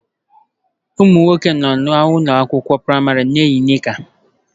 Ụmụ nwoke nọ n'ụlọ akwụkwọ praịmarị na-eyi nika